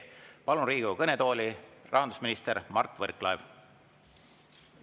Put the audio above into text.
Palun Riigikogu kõnetooli, rahandusminister Mart Võrklaev!